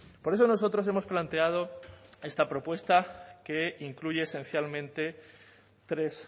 por eso nosotros hemos planteado esta propuesta que incluye esencialmente tres